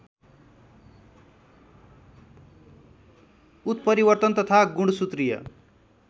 उत्परिवर्तन तथा गुणसूत्रीय